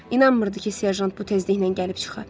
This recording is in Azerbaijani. İnanmırdı ki, serjant bu tezliklə gəlib çıxa.